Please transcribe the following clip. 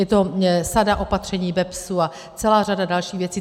Je to sada opatření BEPS a celá řada dalších věcí.